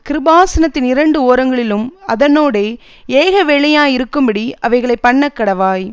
கிருபாசனத்தின் இரண்டு ஓரங்களிலும் அதனோடே ஏகவேலையாயிருக்கும்படி அவைகளை பண்ணக்கடவாய்